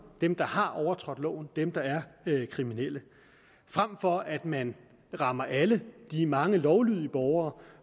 dem der har overtrådt loven dem der er kriminelle frem for at man rammer alle de mange lovlydige borgere